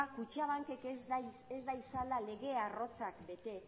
kutxabankek ez datzala lege arrotzak bete